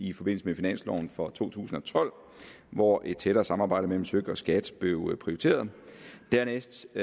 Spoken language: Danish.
i forbindelse med finansloven for to tusind og tolv hvor et tættere samarbejde mellem søk og skat blev prioriteret dernæst